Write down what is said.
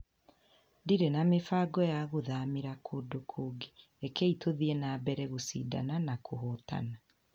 Ndirĩ na mĩbango ya gũthamĩra kũndũ kũngĩ, rekei tũthiĩ na mbere gũcindana na kũhootana.